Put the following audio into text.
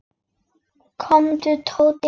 Komdu, Tóti.